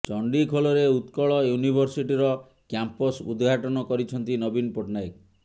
ଚଣ୍ଡିଖୋଲରେ ଉତ୍କଳ ୟୁନିଭିର୍ସିଟିର କ୍ୟାମ୍ପସ ଉଦଘାଟନ କରିଛନ୍ତି ନବୀନ ପଟ୍ଟନାୟକ